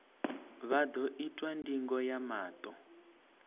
vha ḓo itwa ndingo ya maṱo